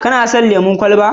Kana son lemon kwalaba?